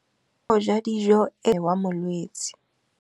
Kganô ya go ja dijo e koafaditse mmele wa molwetse.